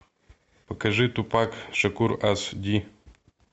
покажи тупак шакур аш ди